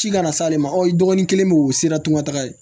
Ci kana s'ale ma aw dɔgɔnin kelen bɛ u sera tunga ta ye